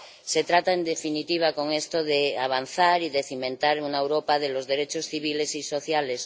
Se trata, en definitiva, con esto, de avanzar y de cimentar una Europa de los derechos civiles y sociales.